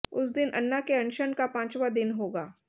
उस दिन अन्ना के अनशन का पांचवां दिन होगा